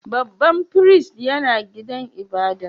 Babban firistin yana gidan ibada'n?